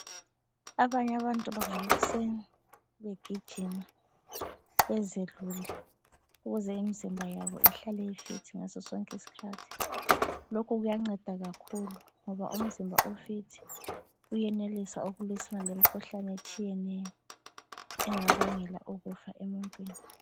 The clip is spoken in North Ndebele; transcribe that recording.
Abanye abantu bavuka ekuseni begijima bezelule ukuze imizimba yabo ihlale i- fit ngasosonke isikhathi. Lokho kuyanceda kakhulu ngoba umzimba o- fit uyenelisa ukulwisana lemikhuhlane etshiyeneyo engabangela ukufa emuntwini.